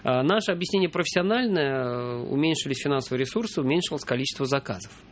а наше объяснение профессиональная уменьшились финансовые ресурсы уменьшилось количество заказов